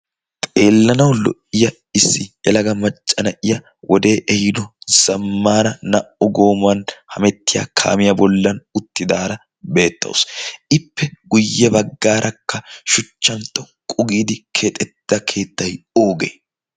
xeellanau lo77iya issi elaga maccana7iya wodee ehiino zammaara naa77u goomuwan hamettiya kaamiyaa bollan utti daara beettausu ippe guyye baggaarakka shuchchan toqqu giidi keexetta keettai oogee